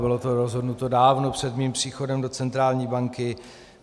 Bylo to rozhodnuto dávno před mým příchodem do centrální banky.